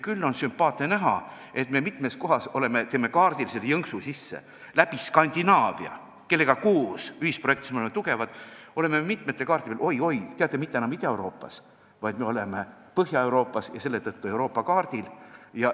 Küll on sümpaatne näha, et me mitmes kohas teeme kaardil selle jõnksu sisse: meil on Skandinaaviaga ühisprojekte, milles me oleme tugevad, ja seetõttu oleme me mitmetel kaartidel – oi-oi, teate – mitte enam Ida-Euroopas, vaid Põhja-Euroopas ja selle tõttu Euroopa kaardil.